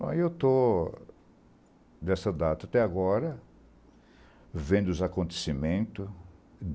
Eu estou, desta data até agora, vendo os acontecimentos.